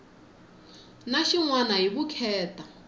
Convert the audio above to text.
na xin wana hi vukheta